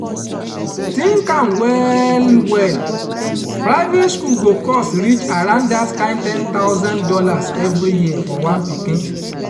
think am well well private school go cost reach around that kind ten thousand dollars every year for one pikin